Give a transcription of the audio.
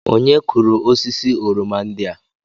Onye kụrụ osisi oroma ndị a?